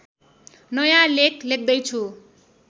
नयाँ लेख लेख्दैछु